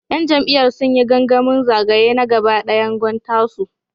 ‘Yan jam’iyyar sun yi gangamin zagaye na gaba dayan Gwan Tasu.